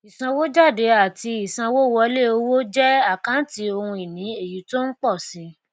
ìsanwójáde àti ìsanwówọlé owó jẹ àkántì ohun ìní èyí tó ń pò si